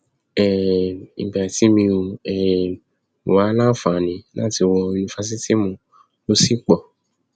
um ìgbà tí mi ò um wáá láǹfààní láti wọ yunifásitìmọ ló sì pọ